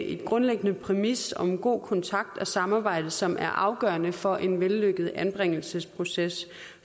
en grundlæggende præmis om en god kontakt og samarbejde som er afgørende for en vellykket anbringelsesproces